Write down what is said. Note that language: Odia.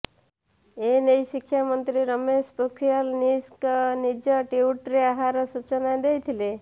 ଏ ନେଇ ଶିକ୍ଷା ମନ୍ତ୍ରୀ ରମେଶ ପୋଖ୍ରିଆଲ୍ ନିଶଙ୍କ ନିଜ ଟ୍ୱିଟରେ ଆହାର ସୂଚନା ଦେଇଥିଲେ